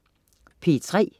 P3: